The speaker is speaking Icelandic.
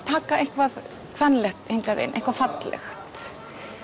taka eitthvað kvenlegt inn eitthvað fallegt